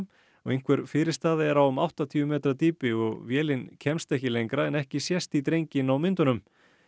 einhver fyrirstaða er á um áttatíu metra dýpi og vélin kemst ekki lengra en ekki sést í drenginn á myndunum